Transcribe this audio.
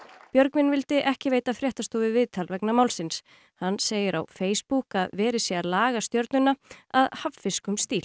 Björgvin vildi ekki veita fréttastofu viðtal vegna málsins hann segir á Facebook að verið sé að laga stjörnuna að hafnfirskum stíl